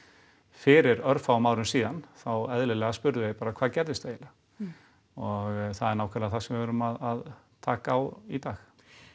fyrir örfáum árum þá eðlilega spurðu þeir bara hvað gerðist eiginlega og það er nákvæmlega það sem við erum að taka á í dag